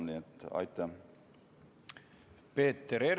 Peeter Ernits, palun!